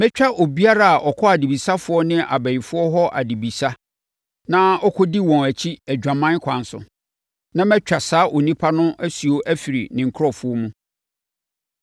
“ ‘Mɛtia obiara a ɔkɔ adebisafoɔ ne abayifoɔ hɔ abisa na ɔkɔdi wɔn akyi adwaman kwan so, na matwa saa onipa no asuo afiri ne nkurɔfoɔ mu.